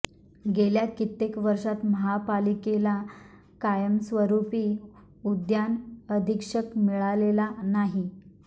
गेल्या कित्येक वर्षांत महापालिकेला कायमस्वरूपी उद्यान अधीक्षक मिळालेला नाही